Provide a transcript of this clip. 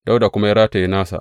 Dawuda kuma ya rataya nasa.